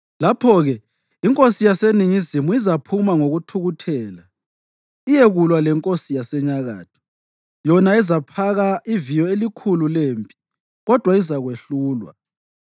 Lapho-ke inkosi yaseNingizimu izaphuma ngokuthukuthela iyekulwa lenkosi yaseNyakatho, yona ezaphaka iviyo elikhulu lempi, kodwa izakwehlulwa.